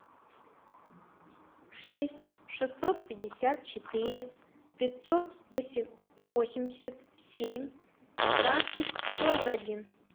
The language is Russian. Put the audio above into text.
шесть шестьсот пятьдесят четыре пятьсот восемьдесят семь пятнадцать сорок один